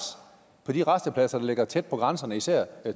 på de rastepladser der ligger tæt på grænserne især